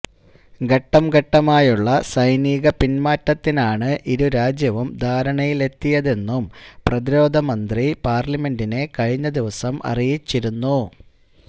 ഘട്ടംഘട്ടമായുള്ള സൈനികപിന്മാറ്റത്തിനാണ് ഇരുരാജ്യവും ധാരണയിലെത്തിയതെന്നും പ്രതിരോധമന്ത്രി പാര്ലമെന്റിനെ കഴിഞ്ഞ ദിവസം അറിയിച്ചിരുന്നു